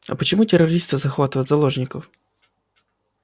а почему террористы захватывают заложников